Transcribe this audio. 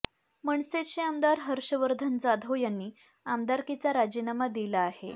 मनसेचे आमदार हर्षवर्धन जाधव यांनी आमदारकीचा राजीनामा दिला आहे